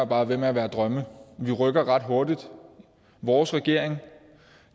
bare være drømme vi rykker ret hurtigt vores regering